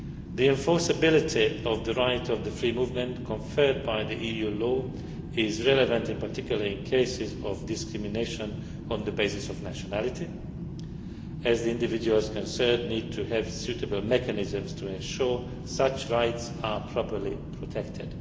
The enforceability of the right of free movement conferred by EU law is particularly relevant in cases of discrimination on the basis of nationality, as the individuals concerned need to have suitable mechanisms to ensure such rights are properly protected.